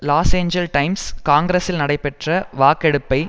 loss Angeles Times காங்கிரசில் நடைபெற்ற வாக்கெடுப்பை